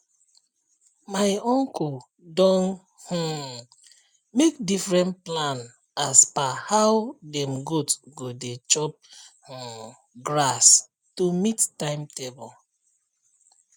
my uncle don um make different plan as per how dem goat go dey chop um grass to meet timetable